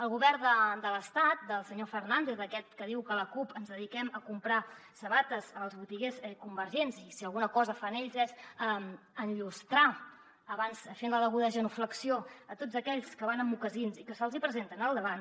el govern de l’estat del senyor fernández d’aquest que diu que la cup ens dediquem a comprar sabates als botiguers convergents i si alguna cosa fan ells és enllustrar abans fent la deguda genuflexió a tots aquells que van amb mocassins i que se’ls hi presenten al davant